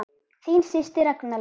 Þín systir Ragna Lóa.